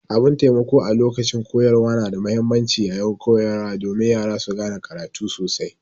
Abun taimako a lokacin koyarwa na da muhimmanci yaƴin koyarwa domin Yara su gane karatu sosai.